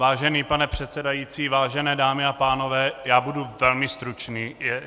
Vážený pane předsedající, vážené dámy a pánové, já budu velmi stručný.